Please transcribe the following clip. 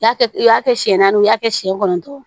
Y'a kɛ u y'a kɛ siɲɛ naani ye i y'a kɛ siɲɛ kɔnɔntɔn